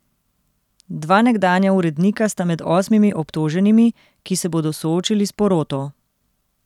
Dva nekdanja urednika sta med osmimi obtoženimi, ki se bodo soočili s poroto.